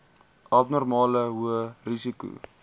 abnormale hoë risiko